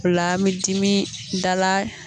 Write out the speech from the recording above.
O la an mi dimi dala